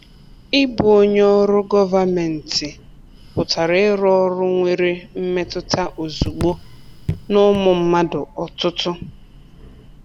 Ịbụ onye ọrụ gọvanmentị pụtara irụ ọrụ nwere mmetụta ozugbo n’ụmụ mmadụ ọtụtụ.